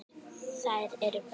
Þær eru bestar.